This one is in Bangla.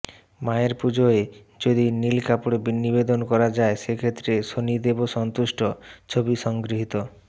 মায়ের পুজোয় যদি নীল কাপড় নিবেদন করা যায় সেক্ষেত্রে শনিদেবও সন্তুষ্ট ছবি সংগৃহীত